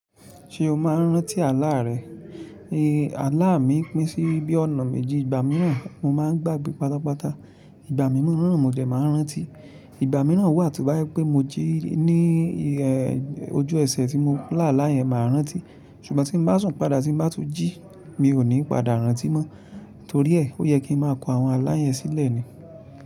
Ṣé o máa ń rántí àlá rẹ? Àlá mi pín sí bí ọ̀nà méjì, ìgbà mìíràn mo máa ń gbàgbé pátápátá, ìgbà mìíràn mo dẹ̀ máa ń rántí, ìgbà mìíràn wà tí o bá jẹ pé mo jí ní ojú ẹsẹ̀ tí mo lá àlá yẹn máa rántí, ṣùgbọ́n tí ń bá sùn padà tí ń bá tun jí, mi ò ní padà rántí mọ́, torí ẹ, ó yẹ kí n máa kon àwọn àlá yẹn sílẹ̀ ni.